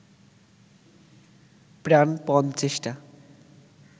প্রাণপণ চেষ্টা